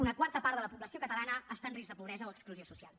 una quarta part de la població catalana està en risc de pobresa o exclusió social